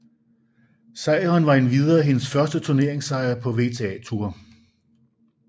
Sejren var endvidere hendes første turneringssejr på WTA Tour